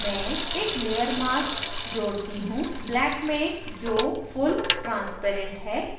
मैं एक layer mask जोड़ती हूँ black में जो फुल transparent है